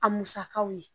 A musakaw ye